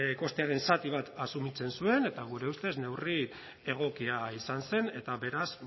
kostearen zati bat asumitzen zuen eta gure ustez neurri egokia izan zen eta beraz